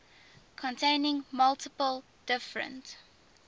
containing multiple different